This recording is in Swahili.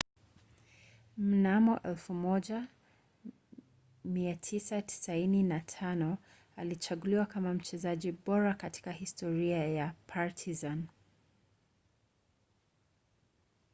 mnamo 1995 alichaguliwa kama mchezaji bora katika historia ya partizan